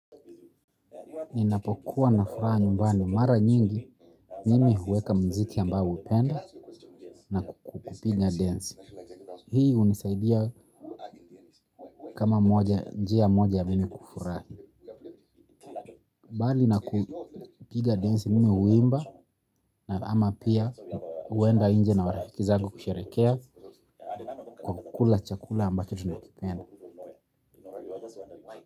Ninapokuwa na furaha nyumbani, mara nyingi mimi huweka mziki ambayo upenda na kupiga densi. Hii unisaidia kama moja, njia moja ya mimi kufurahi. Mbali na kupiga densi mimi huimba na ama pia huenda nje na marafiki zangu kusherehekea kwa kukula chakula ambayo tunakipenda.